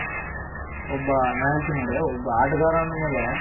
ಒಬ್ಬ ನಾ ಹೇಳ್ತೀನಿ ನೋಡಿ ಒಬ್ಬ ಆಟಗಾರ ಅಂದಮೇಲೆ